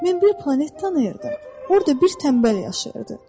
Mən bir planet tanıyırdım, orda bir tənbəl yaşayırdı.